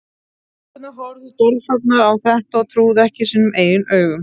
Stelpurnar horfðu dolfallnar á þetta og trúðu ekki sínum eigin augum.